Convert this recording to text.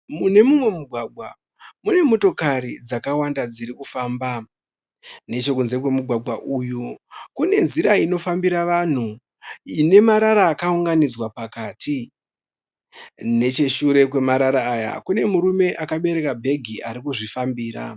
Mune mumwe mugwagwa mune motokari dzakawanda dziri kufamba. Necho kunze kwomugwàgwa uyu kune nzira inofambira vanhu ine marara akaunganidzwa pakati. Necheshure kwemarara aya kune murume akabereka bhegi arikuzvifambira.